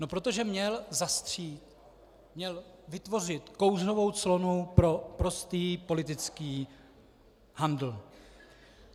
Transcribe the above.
No protože měl zastřít, měl vytvořit kouřovou clonu pro prostý politický handl.